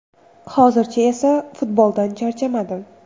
Hozircha esa futboldan charchamadim.